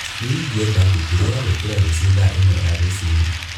nīingīenda ngengere ya gūkīra rūcio thaa īmwe ya rūcinī